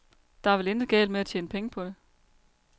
Der er vel intet galt med at tjene penge på det.